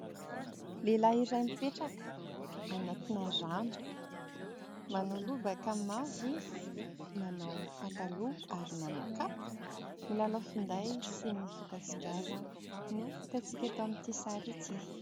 Lehilahy iray mipetraka anatina rano ; manao lobaka mavo izy, manao pataloha, ary manao kapa ; milalao finday sy mifoka sigara no hitantsika eto amin'ity sary ity.